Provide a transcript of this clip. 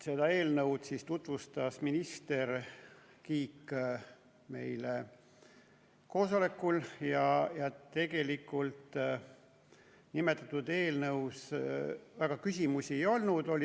Seda eelnõu tutvustas meile koosolekul minister Kiik ja tegelikult nimetatud eelnõu kohta väga küsimusi ei olnud.